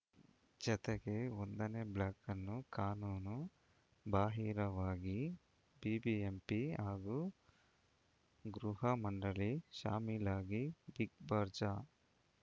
ಜತೆಗೆ ಒಂದನೇ ಬ್ಲಾಕ್‌ಅನ್ನು ಕಾನೂನು ಬಾಹಿರವಾಗಿ ಬಿಬಿಎಂಪಿ ಹಾಗೂ ಗೃಹ ಮಂಡಳಿ ಶಾಮೀಲಾಗಿ ಬಿಗ್‌ಬಜಾರ್‌